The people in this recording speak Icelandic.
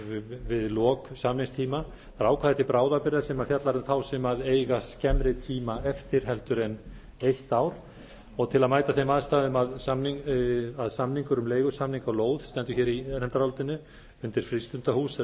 við lok samningstíma það er ákvæði til bráðabirgða sem fjallar um sem eiga skemmri tíma eftir en eitt ár og til að mæta þeim aðstæðum að samningar um leigusamning á lóð stendur hér í nefndarálitinu að samningur um leigusamning á lóð undir frístundahús